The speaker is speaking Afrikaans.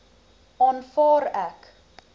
aanvaar ek